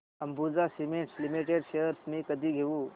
Ambuja cement limited shares मी कधी घेऊ